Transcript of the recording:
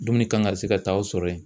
Dumuni kan ka se ka taa aw sɔrɔ yen.